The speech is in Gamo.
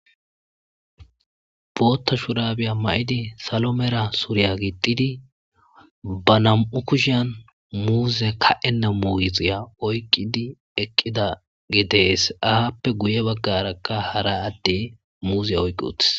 Booththa shurabiya mayidi salo, mela suriya gixxidi , ba nam7u kushiyan muzze ka7enna muuziya oyqqidi eqqidage de7ees. Appe guyye baggaraka muuziya oyqqi uttis.